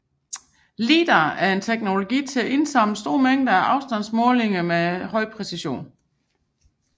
Lidar er en teknologi til at indsamle store mængder af afstandsmålinger med høj præcision